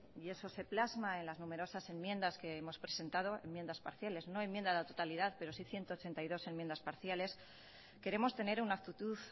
y eso se plasma en las numerosas enmiendas que hemos presentado enmiendas parciales no enmienda a la totalidad pero sí ciento ochenta y dos enmiendas parciales queremos tener una actitud